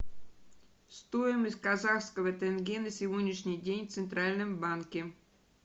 стоимость казахского тенге на сегодняшний день в центральном банке